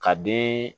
Ka den